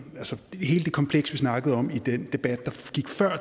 altså hele det kompleks vi snakkede om i den debat